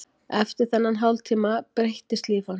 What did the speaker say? Eftir þennan hálftíma breyttist líf hans.